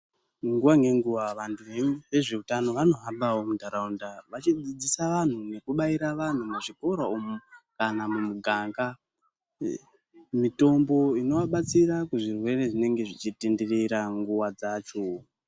Nguwa ngenguwa vantu vezvehutano vanohambawo mundaraunda vachidzidzisa vanhu nekubaira vanhu muzvikora umu kana mumuganga mitombo inovabatsira muzvirwere zvinenge zvichitenderera nguwa dzacho.